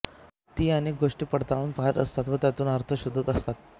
ती अनेक गोष्टी पडताळून पाहात असतात व त्यांतून अर्थ शोधत असतात